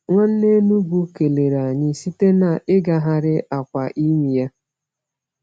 Nwanne Enugwu kelere anyị site n’ịgagharị akwa imi ya.